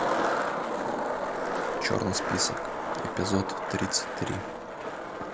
черный список эпизод тридцать три